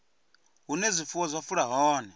hune zwifuwo zwa fula hone